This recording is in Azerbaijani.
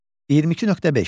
22.5.